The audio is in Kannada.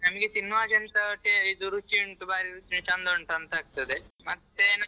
ನಮ್ಗೆ ತಿನ್ನುವಾಗ ಎಂತ ta~ ಇದು ರುಚಿ ಉಂಟು ಚಂದ ಉಂಟಂತಾಗ್ತಾದೆ ಮತ್ತೇ.